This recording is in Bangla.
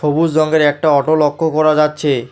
সবুজ রঙ্গের একটা অটো লক্ষ্য করা যাচ্ছে।